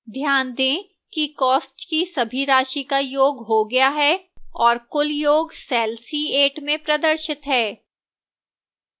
ध्यान दें कि cost की सभी राशि को योग हो गया है और कुल योग cell c8 में प्रदर्शित है